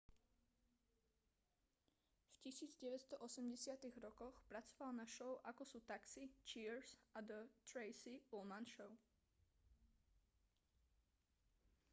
v 1980-tych rokoch pracoval na show ako sú taxi cheers a the tracy ullman show